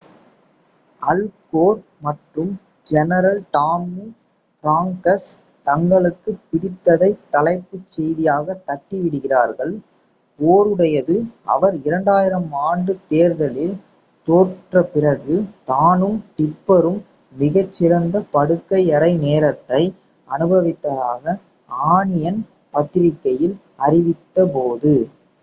அல் Gore மற்றும் general Tommy Franks தங்களுக்குப் பிடித்ததைத் தலைப்புச் செய்தியாக தட்டி விடுகிறார்கள். கோருடையது அவர் 2000 ஆண்டு தேர்தலில் தோற்றபிறகு தானும் டிப்பரும் மிகச் சிறந்த படுக்கையறை நேரத்தை அனுபவித்ததாக ஆனியன் பத்திரிகையில் அறிவித்த போது